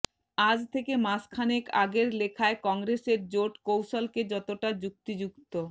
আজ থেকে মাসখানেক আগের লেখায় কংগ্রেসের জোট কৌশলকে যতটা যুক্তিযুক্ত